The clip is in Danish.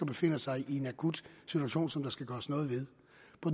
befinder sig i en akut situation som der skal gøres noget ved